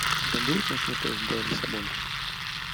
у тебя будет ночной поезд до лиссабона